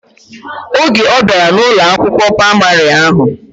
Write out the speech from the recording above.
Oge obiara na Ụlọ akwụkwọ praịmarị ahụ.